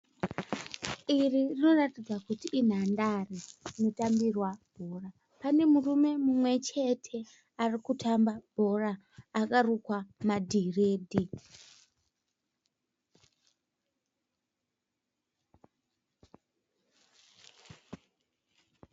Iri rinoratidza kuti inhandare rinotambirwa bhora. Pane murume mumwe chete ari kutamba bhora akarukwa madhiredhi.